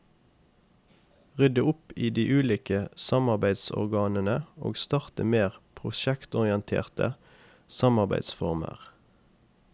Rydde opp i de ulike samarbeidsorganene og starte mer prosjektorienterte samarbeidsformer.